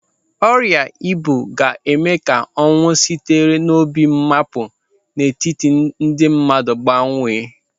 Ọrịa ibu ga-eme ka ọnwụ sitere n'obi mmapu n'etiti ndị mmadụ bawanye.